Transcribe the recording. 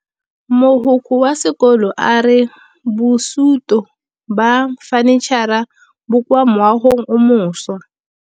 Mogokgo wa sekolo a re bosutô ba fanitšhara bo kwa moagong o mošwa.